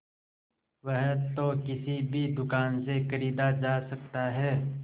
वह तो किसी भी दुकान से खरीदा जा सकता है